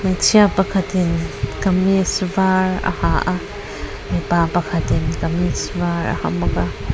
hmeichhia pakhatin kamis var a ha a mipa pakhatin kamis var a ha bawk a.